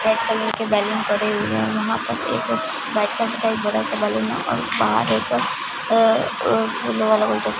white colour के balloon पड़े हुए है वहां पर एक बैठकर कई बड़ा सा बैलून और बाहर एक अ अ फूल वाला --